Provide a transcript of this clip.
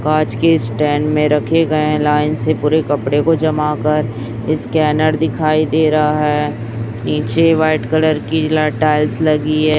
कांच के स्टैंड में रखे गए हैं लाइन से पूरे कपड़े को जमा कर स्कैनर दिखाई दे रहा है नीचे वाइट कलर की ला टाइल्स लगी है।